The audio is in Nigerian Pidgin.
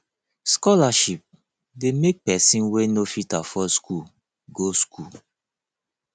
scholarship de make persin wey no fit afford school go school